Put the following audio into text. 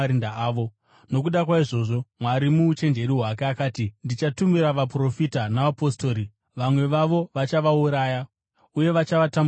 Nokuda kwaizvozvo, Mwari muuchenjeri hwake akati, ‘Ndichatumira vaprofita navapostori, vamwe vavo vachavauraya uye vachatambudza vamwe.’